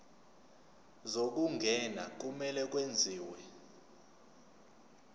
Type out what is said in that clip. zokungena kumele kwenziwe